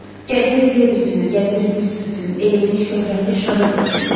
Gəzir yer üzünü, gəzir büsbütün, elimizin şöhrəti şanıdır bu gün.